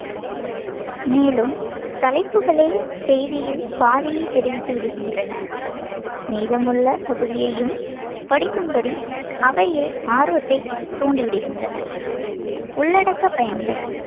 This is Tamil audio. மேலும், தலைப்புகளே செய்தியில் பாதியைத் தெரிவித்து விடுகின்றன. மீதமுள்ள பகுதியையும் படிக்கும்படி அவையே ஆர்வத்தைத் தூண்டிவிடுகின்றன. உள்ளடக்கப் பயன்கள்